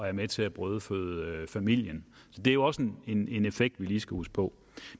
er med til at brødføde familien det er jo også en effekt vi lige skal huske på